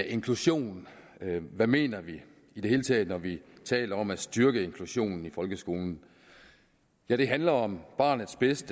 inklusion hvad mener vi i det hele taget når vi taler om at styrke inklusionen i folkeskolen ja det handler om barnets bedste